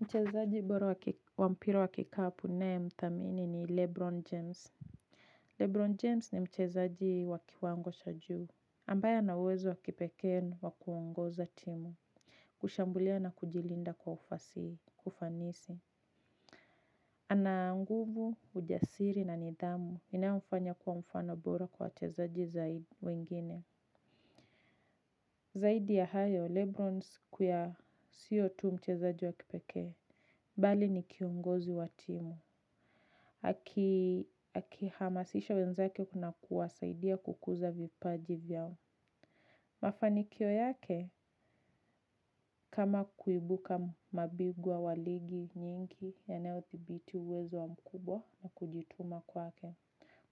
Mchezaji bora wa mpira wa kikapu naye mthamini ni Lebron James. Lebron James ni mchezaji wa kiwango sha juu. Ambaye ana uwezo wa kipekee wa kuongoza timu. Kushambulia na kujilinda kwa kufanisi. Ana nguvu, ujasiri na nidhamu inayomfanya kuwa mfano bora kwa wachezaji zaidi ya wengine. Zaidi ya hayo, Lebron sio tu mchezaji wa kipekee. Bali ni kiongozi wa timu. Akihamasisha wenzake na kuwasaidia kukuza vipaji vyao. Mafanikio yake, kama kuibuka mabingwa wa ligi nyingi yanayothibiti uwezo mkubwa na kujituma kwake.